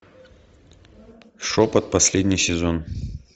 шепот последний сезон